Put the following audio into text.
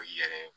O yɛrɛ